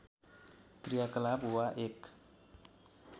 क्रियाकलाप वा एक